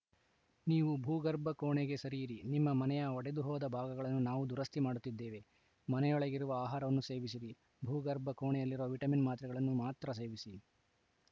ನೀವು ಭೂಗರ್ಭ ಕೋಣೆಗೆ ಸರಿಯಿರಿ ನಿಮ್ಮ ಮನೆಯ ಒಡೆದು ಹೋದ ಭಾಗಗಳನ್ನು ನಾವು ದುರಸ್ತಿ ಮಾಡುತ್ತಿದ್ದೇವೆ ಮನೆಯೊಳಗಿರುವ ಆಹಾರವನ್ನು ಸೇವಿಸಿರಿ ಭೂಗರ್ಭ ಕೋಣೆಯಲ್ಲಿರುವ ವಿಟಮಿನ್‌ ಮಾತ್ರೆಗಳನ್ನು ಮಾತ್ರ ಸೇವಿಸಿ